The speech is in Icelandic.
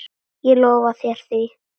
Ég lofa þér því.